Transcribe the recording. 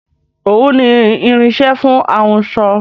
Òwú ni irinsẹ́ fún ahunsọ